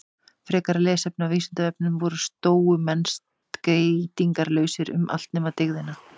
Frekara lesefni á Vísindavefnum: Voru stóumenn skeytingarlausir um allt nema dygðina?